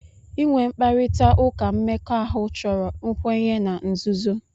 Inwe mkparịta ụka mmekọahụ chọrọ nkwenye na nzuzo.